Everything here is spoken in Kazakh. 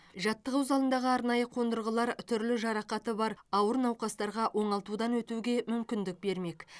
жаттығу залындағы арнайы қондырғылар түрлі жарақаты бар ауыр науқастарға оңалтудан өтуге мүмкіндік бермек